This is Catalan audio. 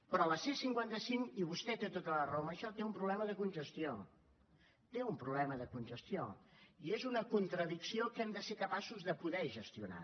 però la c cinquanta cinc i vostè té tota la raó en això té un problema de congestió té un problema de congestió i és una contradicció que hem de ser capaços de poder gestionar